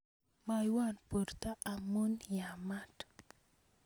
moiwo borto amun amaa